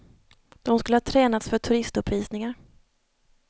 De skulle ha tränats för turistuppvisningar.